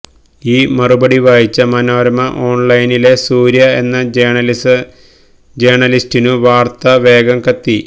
ഈ മറുപടി വായിച്ച മനോരമ ഓൺലൈനിലെ സൂര്യ എന്ന ജേര്ണലിസ്റ്റിനു വാർത്ത വേഗം കത്തി